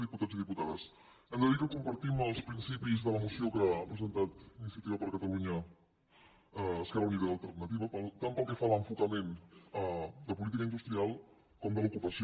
diputats i diputades hem de dir que compartim els principis de la moció que ha presentat iniciativa per catalunya esquerra unida i alternativa tant pel que fa a l’enfocament de política industrial com de l’ocupació